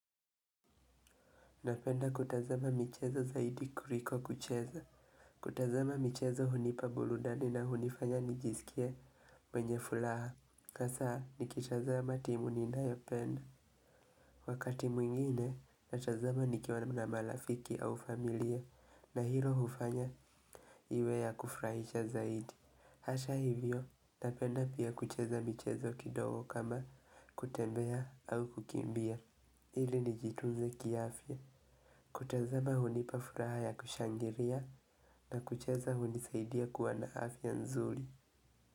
Napenda kutazama michezo zaidi kuliko kucheza. Kutazama michezo hunipa burudani na hunifanya nijisikie mwenye furaha. Kasaa nikitazama timu ninayopenda. Wakati mwingine natazama nikiwa na malafiki au familia na hilo hufanya iwe ya kufurahisha zaidi. Hasha hivyo napenda pia kucheza michezo kidogo kama kutembea au kukimbia. Ili nijitunze kiafya. Kutazama hunipa furaha ya kushangiria na kuchaza hunisaidia kuwa na afya nzuri.